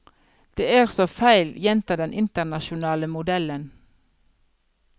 Det er så feil, gjentar den internasjonale modellen.